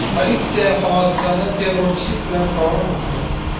Politsiya hodisani terrorchilik bilan bog‘lamoqda.